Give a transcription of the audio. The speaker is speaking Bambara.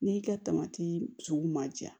N'i ka sugu ma ja